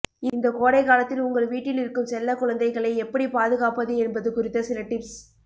இந்த கோடை காலத்தில் உங்கள் வீட்டில் இருக்கும் செல்ல குழந்தைகளை எப்படி பாதுகாப்பது என்பது குறித்த சில டிப்ஸ்